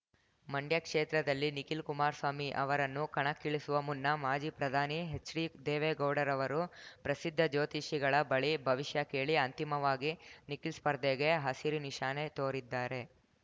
ಮಂಡ್ಯ ಕ್ಷೇತ್ರದಲ್ಲಿ ನಿಖಿಲ್ ಕುಮಾರಸ್ವಾಮಿ ಅವರನ್ನು ಕಣ್ಕಳಿಸುವ ಮುನ್ನ ಮಾಜಿ ಪ್ರಧಾನಿ ಹೆಚ್ಡಿ ದೇವೇಗೌಡರವರು ಪ್ರಸಿದ್ಧ ಜ್ಯೋತಿಷಿಗಳ ಬಳಿ ಭವಿಷ್ಯ ಕೇಳಿ ಅಂತಿಮವಾಗಿ ನಿಖಿಲ್ ಸ್ಪರ್ಧೆಗೆ ಹಸಿರು ನಿಶಾನೆ ತೋರಿದ್ದಾರೆ